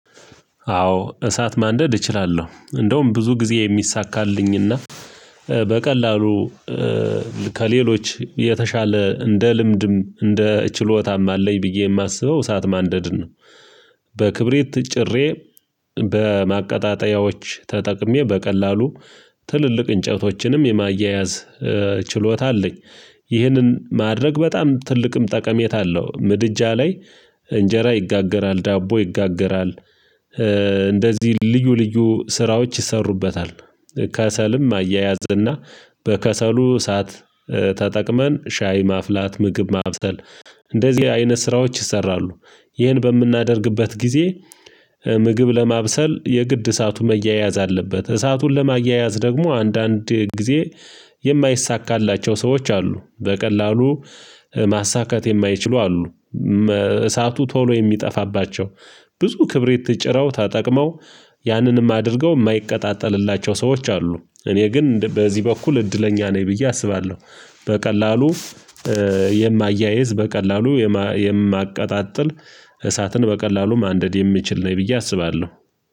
አዎ እሳት ማንደድ እችላለሁ እንደውም ብዙ ጊዜ የሚሳካልኝና በቀላሉ ከሌሎች የተሻለ እንደ ልምድም እንደ ችሎታም አለኝ ብዬ ማስበው እሳት ማንደድን ነው። በክብሪት ጭሬ በማቀጣጠያዎች ተጠቅሜ በቀላሉ ትልልቅ እንጨቶችንም የማያያዝ ችሎታ አለኝ። ይህንን ማድረግ በጣም ትልቅም ጠቀሜታ አለው ምድጃ ላይ እንጀራ ይጋገራል ዳቦ ይጋገራል። እንደዚህ ልዩ ልዩ ስራዎች ይሰሩበታል። ከሰልም አያያዝና በከሰሉ እሳት ተጠቅመን ሻይ ማፍላት ምግብ ማብሰል እንደዚህ አይነት ስራዎች ይሰራሉ። ይህን በምናደርግበት ጊዜ ምግብ ለማብሰል የግድ እሳቱን መያያዝ አለበት። እሳቱን ለማያያዝ ደግሞ አንዳንድ ጊዜ የማይሳካላቸው ሰዎች አሉ። በቀላሉ ማሳካት የማይችሉ አሉ። እሳቱ ቶሎ የሚጠፋባቸው ብዙ ክብሪት ጭረው ተጠቅመው ያንንም አድርገው የማይቀጣጠልላቸው ሰዎች አሉ። እኔ ግን በዚህ በኩል እድለኛ ነኝ ብዬ አስባለሁ። በቀላሉ የማያይዝ በቀላሉ የማቀጣጥል እሳትን በቀላሉ ማንደድ የሚችል ነኝ ብዬ አስባለሁ።